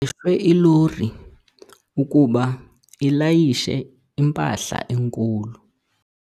ilori ukuba ilayishe impahla enkulu.